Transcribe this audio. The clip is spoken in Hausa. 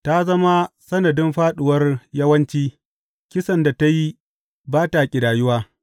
Ta zama sanadin fāɗuwar yawanci; kisan da ta yi ba ta ƙidayuwa.